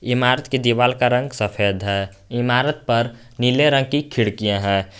इमारत की दीवाल का रंग सफेद है इमारत पर नीले रंग की खिड़कियां है।